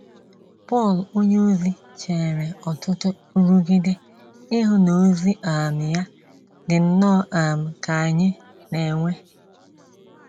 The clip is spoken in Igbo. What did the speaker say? Pọl onyeozi chere ọtụtụ nrụgide ihu n’ozi um ya, dị nnọọ um ka anyị na-enwe.